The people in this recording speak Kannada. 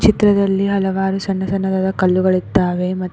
ಚಿತ್ರದಲ್ಲಿ ಹಲವಾರು ಸಣ್ಣ ಸಣ್ಣದಾದ ಕಲ್ಲುಗಳು ಇದ್ದಾವೆ ಮ--